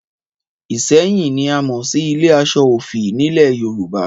Ìṣẹ́yìn ni a mọ̀ sí ilé aṣọ òfì nílẹ̀ Yorùbá